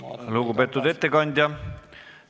Aitäh, lugupeetud ettekandja!